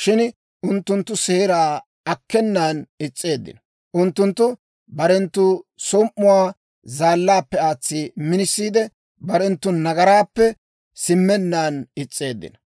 shin unttunttu seeraa akkenan is's'eeddino. Unttunttu barenttu som"uwaa zaallaappe aatsi minisiide, barenttu nagaraappe simmennaan is's'eeddino.